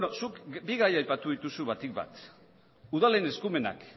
zuk bi gai aipatu dituzu batik bat udalen eskumenak